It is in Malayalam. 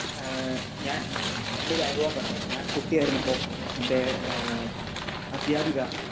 സ്പീക്കർ 2 ഏഹ് ഞാൻ എൻ്റെ ഒരു അനുഭവം പറയാം. ഞാൻ കുട്ടിയായിരുന്നപ്പോ എൻ്റെ ഏഹ് അധ്യാപിക